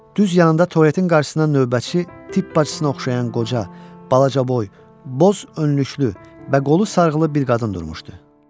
Düz yanında tualetin qarşısından növbətçi tibb bacısına oxşayan qoca, balacaboy, boz önlüklü və qolu sarğılı bir qadın durmuşdu.